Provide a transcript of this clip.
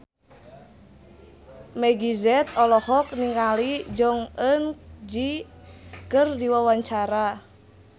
Meggie Z olohok ningali Jong Eun Ji keur diwawancara